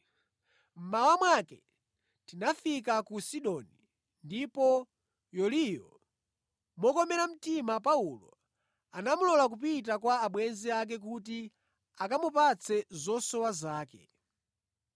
Mmawa mwake tinafika ku Sidoni; ndipo Yuliyo, mokomera mtima Paulo, anamulola kupita kwa abwenzi ake kuti akamupatse zosowa zake.